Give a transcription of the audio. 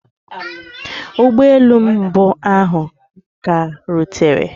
Ụgbọ elu mbụ ahụ ka rutere.